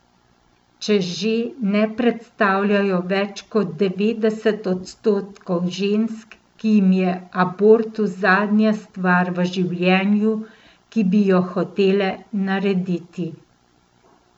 Če že, ne predstavljajo več kot devetdest odstotkov žensk, ki jim je abortus zadnja stvar v življenju, ki bi jo hotele narediti.